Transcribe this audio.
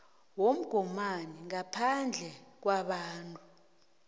womgomani ngaphandle kwabantu